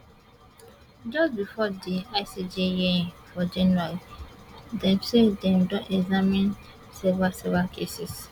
just bifor di icj hearing for january dem say dem don examine several several cases